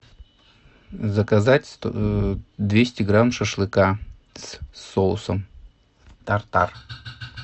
заказать двести грамм шашлыка с соусом тартар